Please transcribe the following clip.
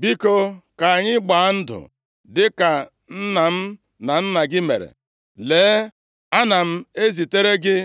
“Biko, ka anyị gbaa ndụ dịka nna m na nna gị mere. Lee, ana m ezitere gị